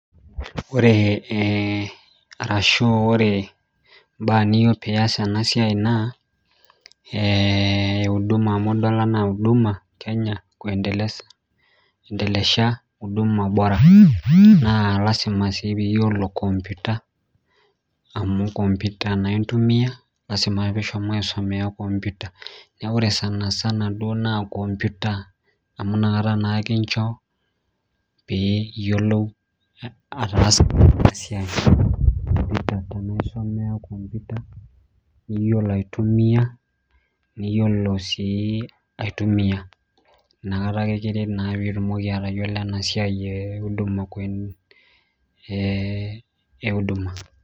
Ore ee arashu ore mbaa niyieu pias enasia na idol anaa uduma kenya aindelesha uduma na lasima nmsi piyiolo enkomputa anu konputa intumia ashibaisumea nkomputa neaku ore sanisana na konputa niyiolo aitumia niyiolo aitumia nakata akr kiret pitumoki atayiolo enasiai euduma